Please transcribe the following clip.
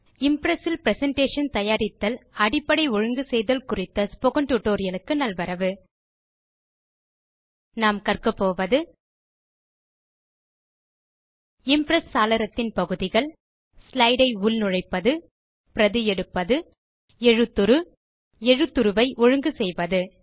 Impress இல் presentation தயாரித்தல் அடிப்படை ஒழுங்கு செய்தல் குறித்த ஸ்போக்கன் டியூட்டோரியல் க்கு நல்வரவு நாம் கற்கப்போவது இம்ப்ரெஸ் சாளரத்தின் பகுதிகள் ஸ்லைடு ஐ உள்நுழைப்பது பிரதி எடுப்பது எழுத்துரு எழுத்துருவை ஒழுங்கு செய்வது